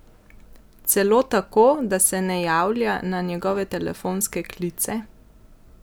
Celo tako, da se ne javlja na njegove telefonske klice?